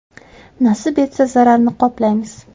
Nasib etsa, zararni qoplaymiz.